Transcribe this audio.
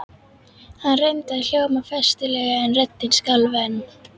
Hann reyndi að hljóma festulega en röddin skalf enn.